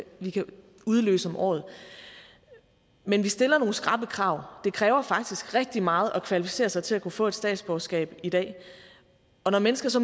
udløses om året men vi stiller nogle skrappe krav det kræver faktisk rigtig meget at kvalificere sig til at kunne få et statsborgerskab i dag og når mennesker så